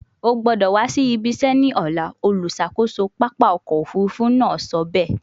O gbọdọ wa si ibi se ni ọla, oluṣakoso papa ọkọ ofurufu naa sọ be